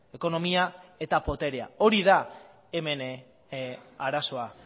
ekonomia eta boterea hori da hemen arazoa